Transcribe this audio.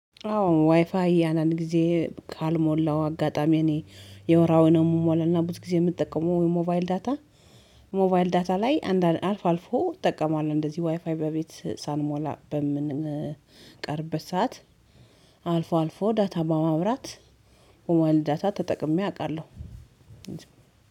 አዎ ዋይፋይ አንዳድ ጊዜ ካልሞላው አጋጣሚ እኔ የወራውን ነው የምሞላና ብዙ ጊዜ የምጠቀመው የሞባይል ዳታ። ሞባይል ዳታ ላይ አንዳንድ አልፎ አልፎ እጠቀማለሁ። እንደዚህ ዋይፋይ በቤት ሳንሞላ በምንቀርበት ሰዓት አልፎ አልፎ ዳታ በማብራት ሞባይል ዳታ ተጠቅሜ አውቃለሁ።